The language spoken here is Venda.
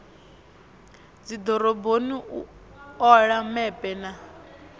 dzidoroboni u ola mepe na